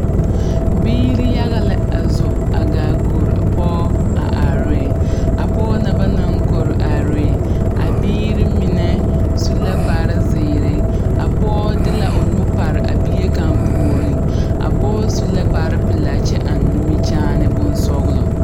Biiri yaga la a zo a gaa kori pɔge a are ne pɔge na ba naŋ kori are ne a biiri mine su la kparre zeere a pɔge de la o nu pare bie kaŋa puoriŋ a pɔge su la kparre pelaa kyɛ eŋ nimikyaani bonsɔglɔ.